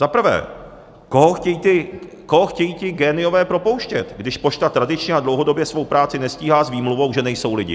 Za prvé, koho chtějí ti géniové propouštět, když pošta tradičně a dlouhodobě svou práci nestíhá s výmluvou, že nejsou lidi?